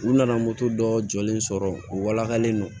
U nana moto dɔ jɔlen sɔrɔ u walakalen don